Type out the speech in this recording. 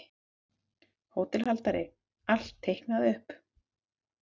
HÓTELHALDARI: Allt teiknað upp.